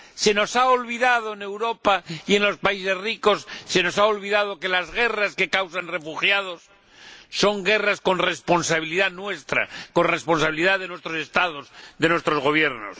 Se nos ha olvidado en Europa y en los países ricos que las guerras que causan refugiados son guerras con responsabilidad nuestra, con responsabilidad de nuestros Estados, de nuestros Gobiernos.